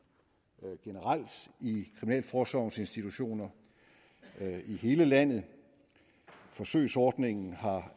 generelt i kriminalforsorgens institutioner i hele landet forsøgsordningen